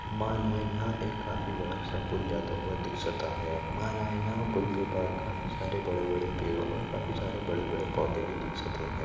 माला यह एक काफी बड़ा सा पूल जाता हुआ दिकसत आहे मला यह पूल के बाहर काफी सारे बड़े बड़े पेड़ और काफी सारे बड़े बड़े पौधे भी दिखसते है।